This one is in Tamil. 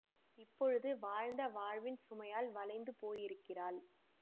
இப்பொழுது வாழ்ந்த வாழ்வின் சுமையால் வளைந்து போயிருக்கிறாள்